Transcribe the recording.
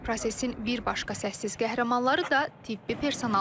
Prosesin bir başqa səssiz qəhrəmanları da tibbi personaldır.